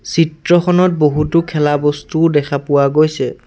চিত্ৰখনত বহুতো খেলা বস্তু দেখা পোৱা গৈছে।